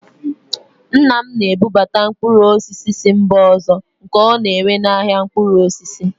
Nna m na-ebubata mkpụrụ osisi si mba ọzọ nke ọ na-ere n'ahịa mkpụrụ osisi